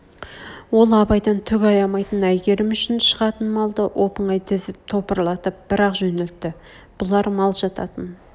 ол абайдан түк аямайтын әйгерім үшн шығатын малды оп-оңай тіізп топырлатып бір-ақ жөнелтті бұлар мал жататын